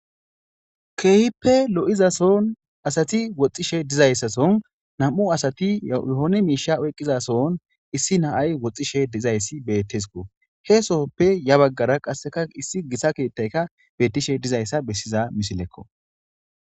keehippe lo7izason asati woxxishe dizayssason nam7u asati yohone miisha oyqqizason issi naay woxxishe dizayssi bettesko he soppe ya baggara qasseka issi gisa keettayka bettishe dizayssa bessiza misilekko